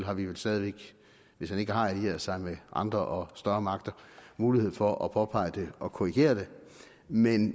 har vi vel stadig væk hvis han ikke har allieret sig med andre og større magter mulighed for at påpege det og korrigere det men